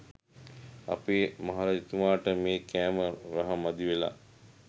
අපේ මහරජතුමට මේ කෑම රහ මදිවෙලා.